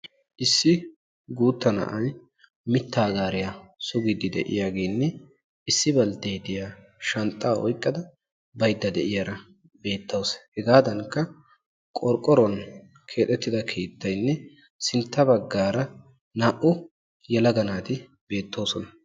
Issi guutta na'ayi mittaa gaariya sugiiddi diyageenne issi baltteetiya shanxxaa oyqqada baydda de'iyara beettawus. Hegaadankka qorqqoruwan keexettida keettayinne sintta baggaara naa''u yelaga naati beettoosona.